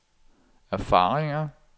erfaringer